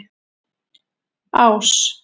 Ás